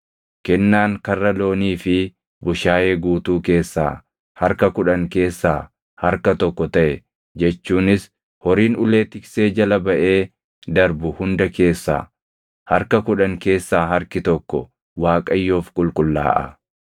Kennaan karra loonii fi bushaayee guutuu keessaa harka kudhan keessaa harka tokko taʼe jechuunis horiin ulee tiksee jala baʼee darbu hunda keessaa harka kudhan keessaa harki tokko Waaqayyoof qulqullaaʼa.